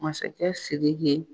Masakɛ Sidi ye